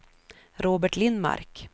Robert Lindmark